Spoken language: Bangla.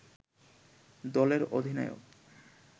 দলের অধিনায়ক